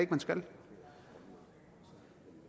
man skal